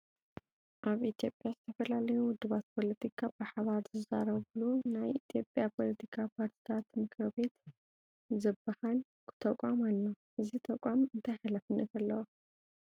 ኣብ ኢትዮጵያ ዝተፈላለዩ ውድባት ፖለቲካ ብሓባር ዝዛረብሉ ናይ ኢትዮጵያ ፖለቲካ ፓርቲታት ምክር ቤት ዝበሃል ተቋም ኣሎ፡፡ እዚ ተቋም እንታይ ሓላፍነት ኣለዎ?